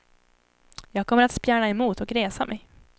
Jag kommer att spjärna emot och resa mig.